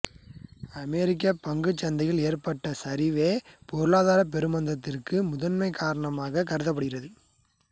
அமெரிக்கப்பங்குச் சந்தையில் ஏற்பட்ட சரிவே பொருளாதாரப் பெருமந்தத்திற்குக் முதன்மைக் காரணமாகக் கருதப்படுகிறது